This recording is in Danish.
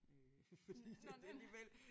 Øh fordi det det alligevel